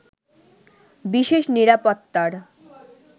বিশেষ নিরাপত্তার